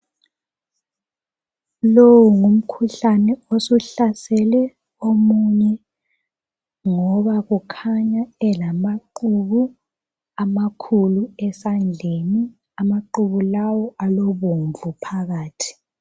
Lo ngumkhuhlane osuhlasela omunye ngoba kukhanya elamaqhubu amakhulu esandleni amaqhubu lawo alobomvu phakathi.